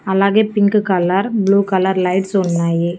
అలాగే pink colour blue colour lights ఉన్నాయి.